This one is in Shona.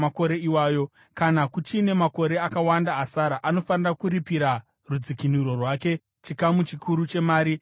Kana kuchine makore akawanda asara, anofanira kuripira rudzikinuro rwake, chikamu chikuru chemari yaakaripirwa.